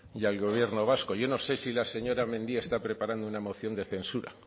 y al gobierno vasco y yo no sé si la señora mendía está preparando una moción de censura